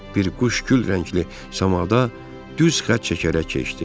Bir quş gül rəngli samada düz xətt çəkərək keçdi.